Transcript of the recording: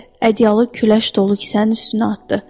Ədyalı küləş dolu kisənin üstünə atdı.